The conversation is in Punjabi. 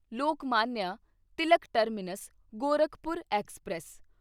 Lokmanya Tilak terminus Gorakhpur express